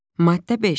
Maddə 5.